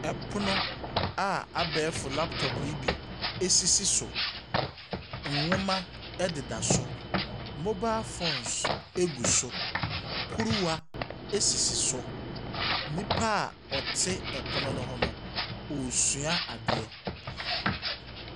Ɛpono a abɛɛfo laptop yi bi esisi so. Nnwoma ɛdeda so. Mobile phones egu so. Kuruwa esisi so. Nipa ɔte ɛpono ne ho no ɔresua adeɛ.